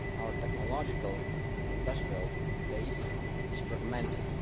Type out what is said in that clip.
Our technological and industrial base is fragmented.